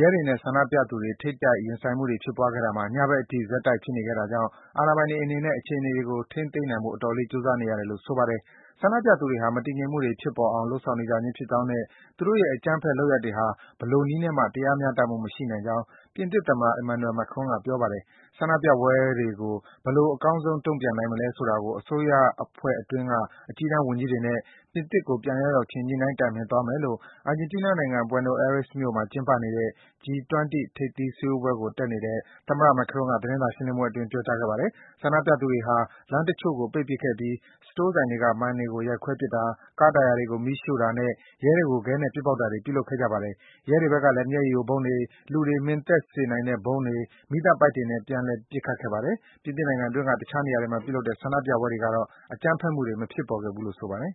ရဲတွေနဲ့ ဆန္ဒပြသူတွေ ထိပ်တိုက် ရင်ဆိုင်ခဲ့ကြတာမှာ ညဘက်အထိ ဆက်တိုက် ဖြစ်နေခဲ့တာကြောင့် အာဏာပိုင်တွေအနေနဲ့ အခြေအနေတွေကို ထိန်းသိမ်းနိုင်ဖို့ အတော်လေး ကြိုးစားနေရတယ်လို့ ဆိုပါတယ်။ ဆန္ဒပြသူတွေဟာ မတည်ငြိမ်မှုတွေ ဖြစ်ပေါ်အောင် လုပ်နေကြခြင်းဖြစ်ကြောင်းနဲ့ သူတို့ရဲ့ အကြမ်းဖက် လုပ်ရပ်တွေဟာ ဘယ်လိုနည်းနဲ့မှ တရားမျှတမှု မရှိနိုင်ကြောင်း ပြင်သစ်သမ္မတ Emmanuel Macron က ပြောပါတယ်။ ဆန္ဒပြပွဲတွေကို ဘယ်လို အကောင်းဆုံး တုံ့ပြန်နိုင်မလဲဆိုတာကို အစိုးရအဖွဲ့အတွင်းက အကြီးတန်း ဝန်ကြီးတွေနဲ့ ပြင်သစ်ကို ပြန်ရောက်ရောက်ခြင်း ညှိနှိုင်း တိုင်ပင်သွားမယ်လို့ အာဂျင်တီးနားနိုင်ငံ၊ Buenos Aires မြို့မှာ ကျင်းပနေတဲ့ G-20 ထိပ်သီး စည်းဝေးပွဲကို တက်နေတဲ့ သမ္မတ Macron က သတင်းစာ ရှင်းလင်းပွဲအတွင်း ပြောကြားခဲ့ပါတယ်။ ဆန္ဒပြသူတွေဟာ လမ်းတချို့ကို ပိတ်ပစ်ခဲ့ပြီး စတိုးဆိုင်တွေက မှန်တွေကို ရိုက်ခွဲပစ်တာ၊ ကားတာယာတွေကို မီးရှို့တာနဲ့ ရဲတွေကို ခဲနဲ့ ပစ်ပေါက်တာတွေ ပြုလုပ်ခဲ့ကြပါတယ်။ ရဲတွေဘက်ကလည်း မျက်ရည်ယိုဗုံးတွေ၊ လူတွေ မှင်သက်မိစေတဲ့ ဗုံးတွေ၊ မီးသတ်ပိုက်တွေနဲ့ ပြန်လည် ပစ်ခတ်ခဲ့ပါတယ်။ ပြင်သစ်နိုင်ငံအတွင်းက တခြားနေရာတွေမှာ ပြုလုပ်ခဲ့တဲ့ ဆန္ဒပြပွဲတွေကတော့ အကြမ်းဖက်မှုတွေ မဖြစ်ပေါ်ခဲ့ဘူးလို့ ဆိုပါတယ်